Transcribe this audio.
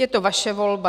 Je to vaše volba.